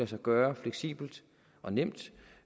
sig gøre fleksibelt og nemt